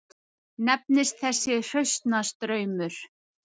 Nefnist þessi hraunstraumur